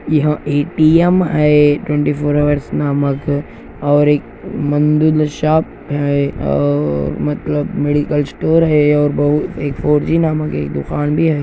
यह ए_टी_एम है twenty four hour नामक और एक मदिन शॉप है और मतलब मेडिकल स्टोर है एक फोर जी नामक एक दुकान भी है।